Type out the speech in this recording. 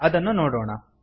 ಅದನ್ನು ನೋಡೋಣ